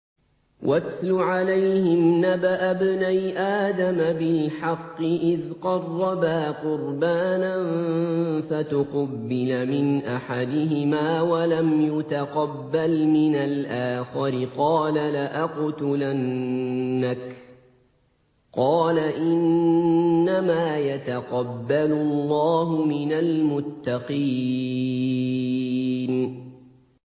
۞ وَاتْلُ عَلَيْهِمْ نَبَأَ ابْنَيْ آدَمَ بِالْحَقِّ إِذْ قَرَّبَا قُرْبَانًا فَتُقُبِّلَ مِنْ أَحَدِهِمَا وَلَمْ يُتَقَبَّلْ مِنَ الْآخَرِ قَالَ لَأَقْتُلَنَّكَ ۖ قَالَ إِنَّمَا يَتَقَبَّلُ اللَّهُ مِنَ الْمُتَّقِينَ